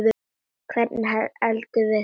Hvernig eldumst við?